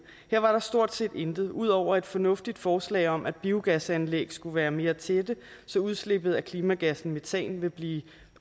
her var der stort set intet ud over et fornuftigt forslag om at biogasanlæg skulle være mere tætte så udslippet af klimagassen metan vil blive